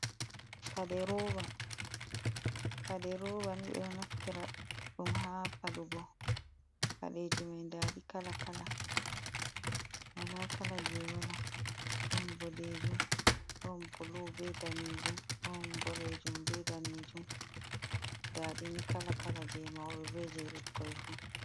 Paɗeroba, paɗeroba ni ɓeɗo naftira ɗum ha paɗugo paɗeji mai ndaɗi kala kala, wala kala je wala ɗon boɗejum ɗon bulu be danejum, ɗon boɗejum be danejum, ndaɗini kala kala je mauɓe be je ɓikkoi fu.